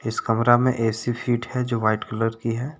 इस कमरा में ऐ_सी फिट है जो वाइट कलर की है।